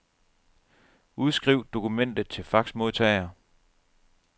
Udskriv dokumentet til faxmodtager.